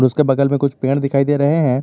उसके बगल में कुछ पेड़ दिखाई दे रहे हैं।